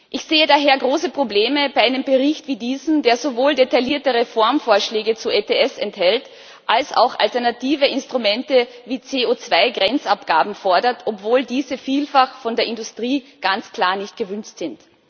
Ich sehe daher große Probleme bei einem Bericht wie diesem, der sowohl detaillierte Reformvorschläge zu ETS enthält als auch alternative Instrumente wie CO2 Grenzabgaben fordert, obwohl diese vielfach von der Industrie ganz klar nicht gewünscht sind.